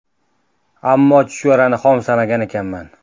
Ammo chuchvarani xom sanagan ekanman.